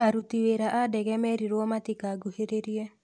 Aruti wĩra a ndege meririo matika nguhĩrĩrie.